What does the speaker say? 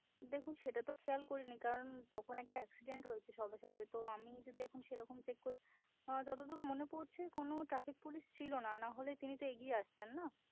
দেখুন সেটা তো খেয়াল করিনি কারণ তখন একটা accident হয়েছে সবে সবে তো আমি যদি এখন সেরকম check করি যতদূর মনে পরছে কোনো traffic police ছিল না নাহলে তিনি তো এগিয়ে আসতেন না